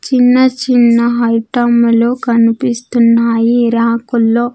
చిన్న చిన్న ఐటములు కన్పిస్తున్నాయి ఈ రాకుల్లో .